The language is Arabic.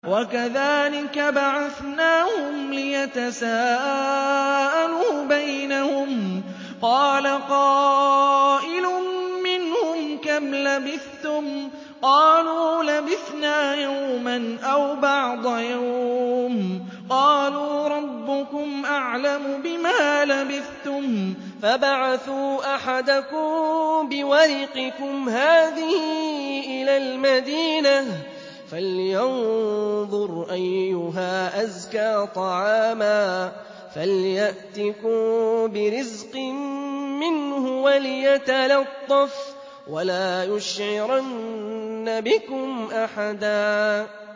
وَكَذَٰلِكَ بَعَثْنَاهُمْ لِيَتَسَاءَلُوا بَيْنَهُمْ ۚ قَالَ قَائِلٌ مِّنْهُمْ كَمْ لَبِثْتُمْ ۖ قَالُوا لَبِثْنَا يَوْمًا أَوْ بَعْضَ يَوْمٍ ۚ قَالُوا رَبُّكُمْ أَعْلَمُ بِمَا لَبِثْتُمْ فَابْعَثُوا أَحَدَكُم بِوَرِقِكُمْ هَٰذِهِ إِلَى الْمَدِينَةِ فَلْيَنظُرْ أَيُّهَا أَزْكَىٰ طَعَامًا فَلْيَأْتِكُم بِرِزْقٍ مِّنْهُ وَلْيَتَلَطَّفْ وَلَا يُشْعِرَنَّ بِكُمْ أَحَدًا